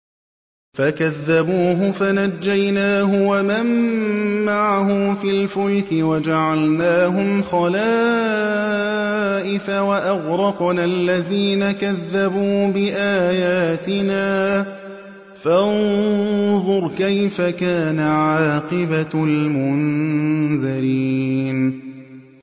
فَكَذَّبُوهُ فَنَجَّيْنَاهُ وَمَن مَّعَهُ فِي الْفُلْكِ وَجَعَلْنَاهُمْ خَلَائِفَ وَأَغْرَقْنَا الَّذِينَ كَذَّبُوا بِآيَاتِنَا ۖ فَانظُرْ كَيْفَ كَانَ عَاقِبَةُ الْمُنذَرِينَ